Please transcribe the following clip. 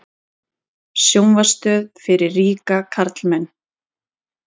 Sjónvarpsstöð fyrir ríka karlmenn